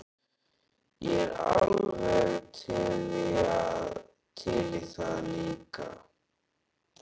Ég er alveg til í það líka.